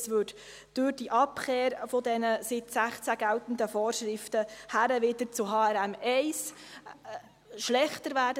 Dies würde durch die Abkehr von den seit 2016 geltenden Vorschriften, wieder hin zu HRM1, schlechter werden.